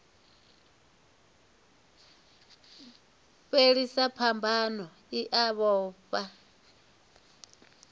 fhelisa phambano i a vhofha